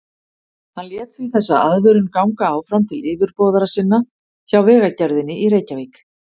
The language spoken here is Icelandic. Hann lét því þessa aðvörun ganga áfram til yfirboðara sinna hjá Vegagerðinni í Reykjavík.